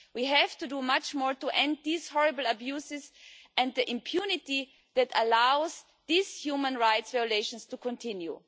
We have to do much more to end these horrible abuses and the impunity that allows these human rights violations to continue.